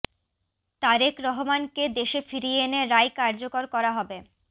তারেক রহমানকে দেশে ফিরিয়ে এনে রায় কার্যকর করা হবে